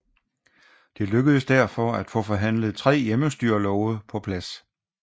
Det lykkedes derfor at få forhandlet tre hjemmestyrelove på plads